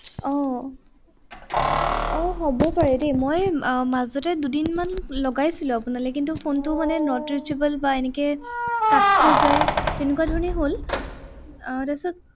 আহ হব পাৰে দেই, মই মাজতে দুদিনমান লগাইছিলো আপোনালে। কিন্তু phone টো মানে not reachable বা এনেকে cut খাই যায় তেনেকুৱা ধৰণে হল। আহ তাৰপিছত